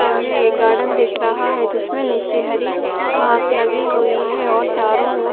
सामने एक गार्डन दिख रहा है जिसमे नीचे हरी घास लगी हुई है और चारों ओर--